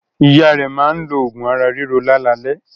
Ìyá rẹ̀ máa ń lo oògùn ara-ríro lálalẹ́.